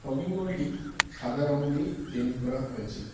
Shopping মলটি সাদা রং দিয়ে পেইন্ট করা হয়েছে।